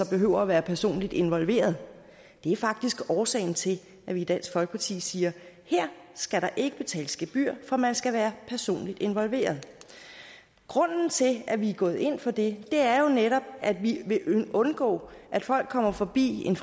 behøver at være personligt involveret det er faktisk årsagen til at vi i dansk folkeparti siger her skal der ikke betales gebyr for man skal være personligt involveret grunden til at vi går ind for det er jo netop at vi vil undgå at folk kommer forbi en